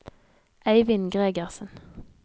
Eivind Gregersen